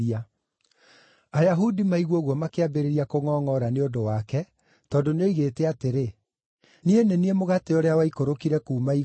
Ayahudi maigua ũguo makĩambĩrĩria kũngʼongʼora nĩ ũndũ wake tondũ nĩoigĩte atĩrĩ, “Niĩ nĩ niĩ mũgate ũrĩa waikũrũkire kuuma igũrũ.”